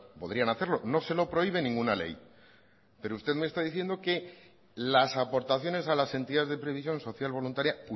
podrían hacerlo no se lo prohíbe ninguna ley pero usted me está diciendo que las aportaciones a las entidades de previsión social voluntaria